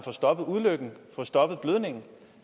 stoppet ulykken og stoppet blødningen